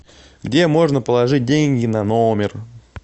где можно положить деньги на номер